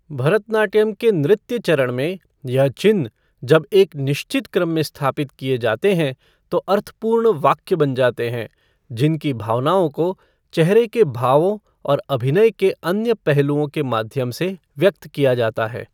भरतनाट्यम के नृत्य चरण में, यह चिह्न जब एक निश्चित क्रम में स्थापित किए जाते हैं तो अर्थपूर्ण वाक्य बन जाते हैं, जिनकी भावनाओं को चेहरे के भावों और अभिनय के अन्य पहलुओं के माध्यम से व्यक्त किया जाता है।